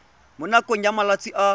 mo nakong ya malatsi a